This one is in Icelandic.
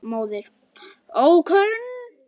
Móðir: Ókunn.